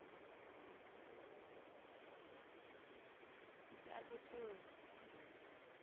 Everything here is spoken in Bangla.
চার বছর